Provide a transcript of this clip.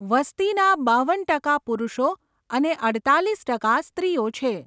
વસ્તીના બાવન ટકા પુરુષો અને અડતાલીસ ટકા સ્ત્રીઓ છે.